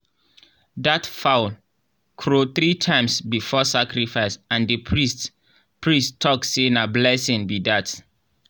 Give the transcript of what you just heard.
that fowl crow three times before sacrifice and the priest priest talk say na blessing be that.